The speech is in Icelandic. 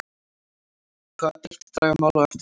Hvaða dilk draga mál á eftir sér?